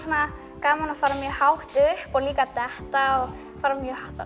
gaman að fara svona mjög hátt upp og líka að detta fara